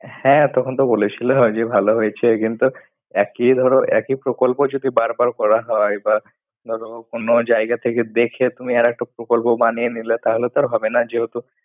হ্যাঁ, তখন তো বলেছিল। যে ভালো হয়েছে। কিন্তু একে ধরো একই প্রকল্প যদি বারবার করা হয়, বা ধরো অন্য জায়গা থেকে দেখে তুমি আর একটা প্রকল্প বানিয়ে নিলে তাহলে তো আর হবে না। যেহেতু,